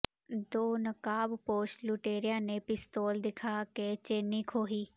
ਦੋ ਨਕਾਬਪੋਸ਼ ਲੁਟੇਰਿਆਂ ਨੇ ਪਿਸਤੌਲ ਦਿਖਾ ਕੇ ਚੇਨੀ ਖੋਹੀ